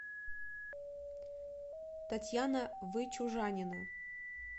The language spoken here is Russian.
татьяна вычужанина